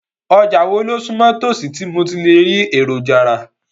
Ọjà wo ló sún mọ́ itòsí tí mo ti lè rí èròjà rà?